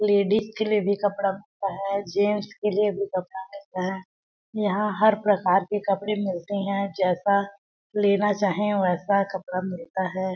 Ladies के लिए भी कपड़ा मिलता है जेंट्स के लिए भी कपड़ा मिलता है यहाँ हर प्रकार के कपडे मिलते है जैसा लेना चाहे वैसा कपड़ा मिलता है।